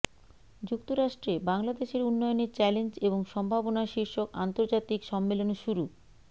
যুক্তরাষ্ট্রে বাংলাদেশের উন্নয়নে চ্যালেঞ্জ এবং সম্ভাবনা শীর্ষক আন্তর্জাতিক সম্মেলন শুরু